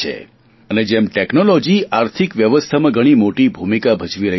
અને જેમ ટેકનોલોજી આર્થિક વ્યવસ્થામાં ઘણી મોટી ભૂમિકા ભજવી રહી છે